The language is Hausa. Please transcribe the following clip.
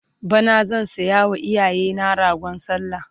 bana zan sayawa iyayena ragon sallah